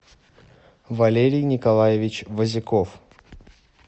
валерий николаевич возяков